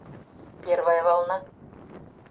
первая волна